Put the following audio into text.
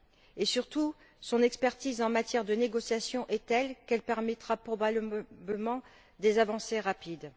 Et, surtout, son expertise en matière de négociations est telle qu'elle permettra probablement des avancées rapides.